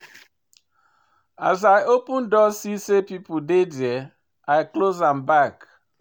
As I open door see sey pesin dey there, I close am back.